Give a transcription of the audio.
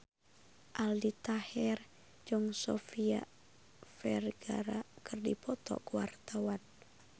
Aldi Taher jeung Sofia Vergara keur dipoto ku wartawan